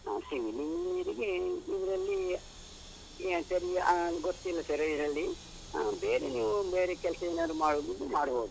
ಹ civil engineer ಗೆ ಇದ್ರಲ್ಲಿ ಸರಿ ಗೊತ್ತಿಲ್ಲ sir ಇದ್ರಲ್ಲಿ ಆ, ಬೇರೆ ನೀವು ಬೇರೆ ಕೆಲ್ಸ ಏನಾದ್ರು ಮಾಡುದಿದ್ರೆ ಮಾಡ್ಬೋದು.